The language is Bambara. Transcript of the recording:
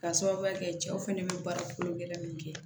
K'a sababuya kɛ cɛw fɛnɛ bɛ baara kolo gɛlɛn minnu kɛ